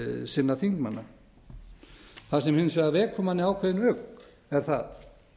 sinna þingmanna það sem hins vegar vekur manni ákveðinn ugg er það